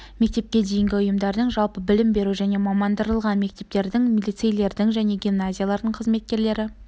мектепке дейінгі ұйымдардың жалпы білім беру және мамандандырылған мектептердің лицейлердің және гимназиялардың қызметкерлері